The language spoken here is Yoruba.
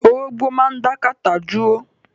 Orógbo máa dá kátà dúró.